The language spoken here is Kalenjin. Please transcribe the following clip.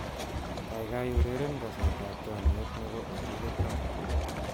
Kaikai ureren kaset ab chomiet nebo Otile Brown